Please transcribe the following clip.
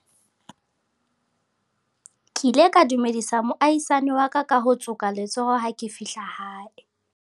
ke ile ka dumedisa moahisani wa ka ka ho tsoka letsoho ha ke fihla hae